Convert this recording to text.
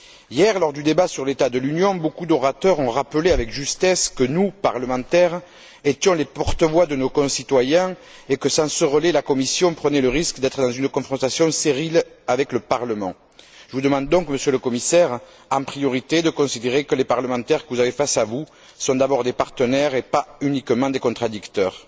Hier, lors du débat sur l'état de l'Union, beaucoup d'orateurs ont rappelé avec justesse que nous, parlementaires, étions les porte voix de nos concitoyens et que, sans ce relais, la Commission prenait le risque d'être dans une confrontation stérile avec le Parlement. Je vous demande donc, Monsieur le Commissaire, en priorité, de considérer que les parlementaires que vous avez face à vous, sont d'abord des partenaires et pas uniquement des contradicteurs.